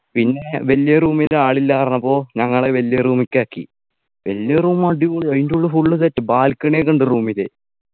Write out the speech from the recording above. പിന്നെ വലിയ Room ൽ ആളില്ല പറഞ്ഞപ്പോ ഞങ്ങളെ വലിയ Room കാക്കി വലിയ Room അടിപൊളി അയിൻ്റെ ഉള്ള് Full set up Balcony ഒക്കെ ഉണ്ട് Room ല്